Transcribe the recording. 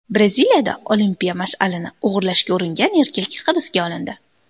Braziliyada olimpiya mash’alini o‘g‘irlashga uringan erkak hibsga olindi.